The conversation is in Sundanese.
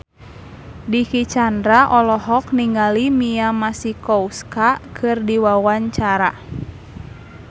Dicky Chandra olohok ningali Mia Masikowska keur diwawancara